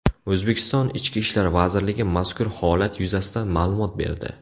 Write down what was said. O‘zbekiston Ichki ishlar vazirligi mazkur holat yuzasidan ma’lumot berdi .